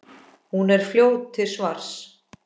Hún er fljót til svars.